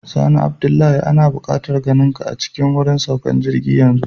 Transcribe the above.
Sani Abdullah, ana bukatar ganinka a cikin wurin saukan jirgi yanzu.